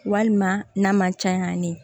Walima n'a man ca yan